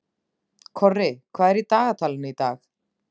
Korri, hvað er í dagatalinu í dag?